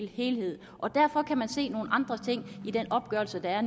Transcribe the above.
helhed og derfor kan man se nogle andre ting i den opgørelse der er